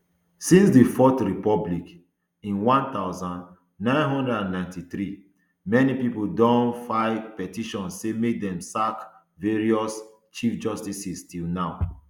since di fourth republic in one thousand, nine hundred and ninety-three many pipo don file petition say make dem sack various chief justices till now